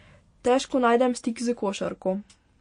Težko najdem stik s košarko.